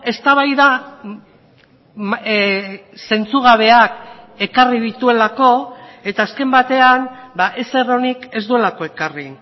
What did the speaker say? eztabaida zentzugabeak ekarri dituelako eta azken batean ezer onik ez duelako ekarri